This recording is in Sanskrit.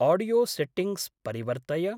आडियोसेट्टिङ्ग्स् परिवर्तय।